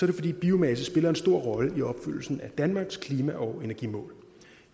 det fordi biomasse spiller en stor rolle i opfyldelsen af danmarks klima og energimål